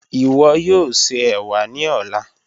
Iwọ yoo ṣe ewa ni ọla.